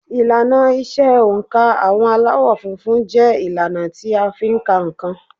Ìlànà ìṣe oǹkà àwọn Aláwọ̀ funfun jẹ́ ìlànà tí a fi ń ka nǹkan